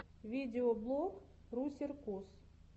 видеоблог русеркус